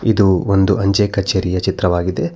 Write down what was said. ಇದು ಒಂದು ಅಂಚೆ ಕಚೇರಿಯ ಚಿತ್ರವಾಗಿದೆ.